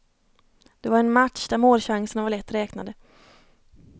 Det var en match där målchanserna var lätt räknade.